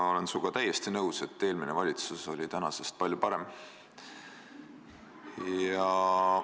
Ma olen sinuga täiesti nõus, et eelmine valitsus oli tänasest palju parem.